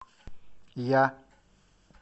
я